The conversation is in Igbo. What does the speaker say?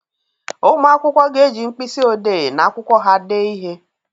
Ụmụ akwụkwọ ga-eji mkpịsị odee na akwụkwọ ha dee ihe.